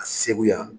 A segu yan